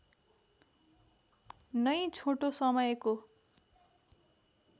नै छोटो समयको